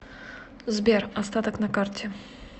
сбер остаток на карте